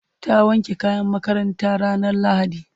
ta wanke kayan makarantanta ranar lahadi